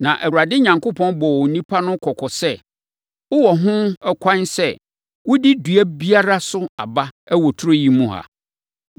Na Awurade Onyankopɔn bɔɔ onipa no kɔkɔ sɛ, “Wowɔ ho ɛkwan sɛ, wodi dua biara so aba wɔ turo yi mu ha;